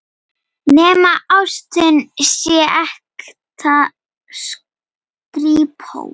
Nema ástin sé ekta skrípó.